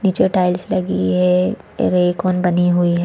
नीचे टाइल्स लगी हुई है रेक और बनी हुई हैं।